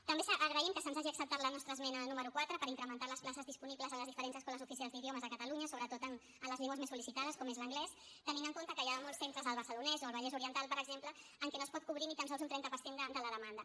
també agraïm que se’ns hagi acceptat la nostra esmena número quatre per incrementar les places disponibles a les diferents escoles oficials d’idiomes de catalunya sobretot en les llengües més sol·licitades com és l’anglès tenint en compte que hi ha molts centres al barcelonès o al vallès oriental per exemple en què no es pot cobrir ni tan sols un trenta per cent de la demanda